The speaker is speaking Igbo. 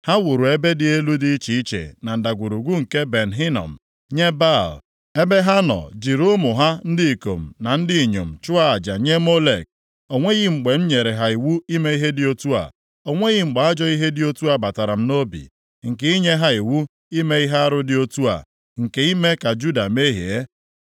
Ha wuru ebe dị elu dị iche iche na Ndagwurugwu nke Ben Hinom nye Baal, ebe ha nọ jiri ụmụ ha ndị ikom na ndị inyom chụọ aja nye Molek. O nweghị mgbe m nyere ha iwu ime ihe dị otu a, o nweghị mgbe ajọ ihe dị otu a batara m nʼobi, nke i nye ha iwu ime ihe arụ dị otu a, nke ime ka Juda mehie.